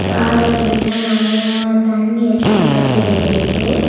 காருகிட்ட நெறைய தண்ணி எல்லா பெருவிருக்கு.